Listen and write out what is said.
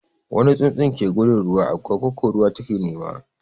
Wani tsutsun ke gudun ruwa, agwagwa ko ruwa ta ke nema.